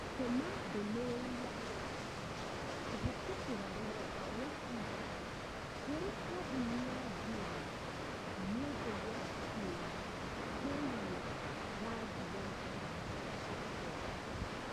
Tũma ndũmĩrĩri ya gũteta kũhĩtũkĩra rũrenda rũa tũita kũrĩ kambũni ya Jumia nĩundu wa kĩũria kĩgiĩ rangi wa iraatũ ciakwa